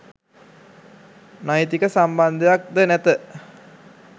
නෛතික සම්බන්ධයක් ද නැත.